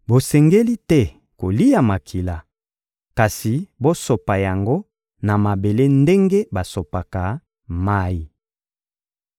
Bosengeli te kolia makila; kasi bosopa yango na mabele ndenge basopaka mayi.